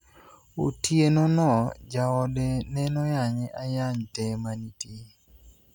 Otieno no jaode nenoyanye ayany te manitie .